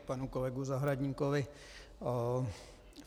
K panu kolegovi Zahradníkovi.